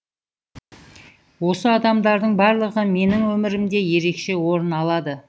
осы адамдардың барлығы менің өмірімде ерекше орын алады